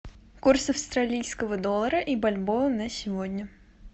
курс австралийского доллара и бальбоа на сегодня